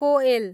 कोएल